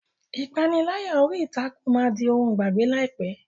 Ìpániláyà orí ìtàkùn máa di ohun ìgbàgbé láìpẹ́.